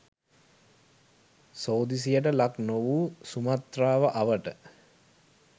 සෝදිසියට ලක් නොවූ සුමාත්‍රාව අවට